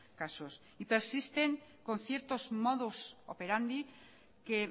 casos y persisten con ciertos modos operandi que